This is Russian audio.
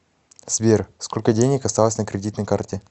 сбер сколько денег осталось на кредитной карте